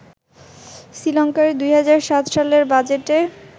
শ্রীলঙ্কায় ২০০৭ সালের বাজেটে